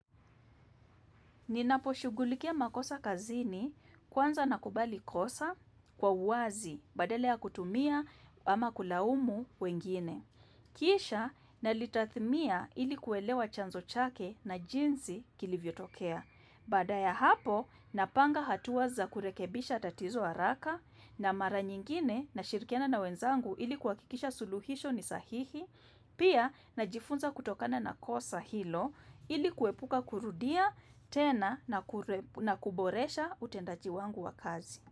Ninaposhughulikia makosa kazini, kwanza nakubali kosa kwa uwazi badala ya kutumia ama kulaumu wengine. Kisha nalitathmia ili kuelewa chanzo chake na jinsi kilivyotokea. Baada ya hapo, napanga hatua za kurekebisha tatizo haraka na mara nyingine nashirikiana na wenzangu ili kuhakikisha suluhisho ni sahihi. Pia najifunza kutokana na kosa hilo ili kuepuka kurudia tena na kuboresha utendaji wangu wa kazi.